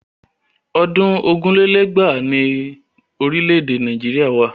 Ọdún ogún lé lẹ́gbàá ni orílẹ̀ Nàìjíríà wà.